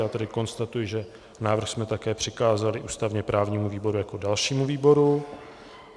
Já tedy konstatuji, že návrh jsme také přikázali ústavně právnímu výboru jako dalšímu výboru.